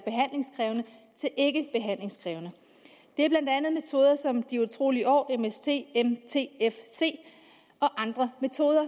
ikkebehandlingskrævende det er blandt andet metoder som de utrolige år mst og mtfc og andre metoder